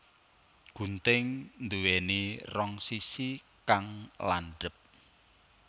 Gunting nduwéni rong sisi kang landhep